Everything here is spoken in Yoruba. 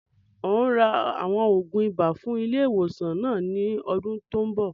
Ń o ra àwọn oògùn ibà fún ilé ìwòsàn náà ni ọdún tòun bọ̀